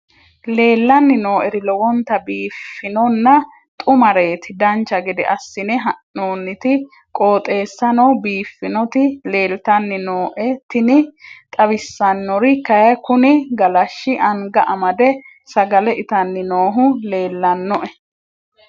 leellanni nooeri lowonta biiffinonna xumareeti dancha gede assine haa'noonniti qooxeessano biiffinoti leeltanni nooe tini xawissannori kayi kuni galashshi anga amade sagale itanni noohu leellannoe